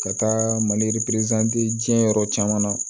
Ka taa maliperezante diɲɛ yɔrɔ caman na